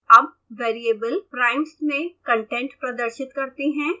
अब variable primes में content प्रदर्शित करते हैं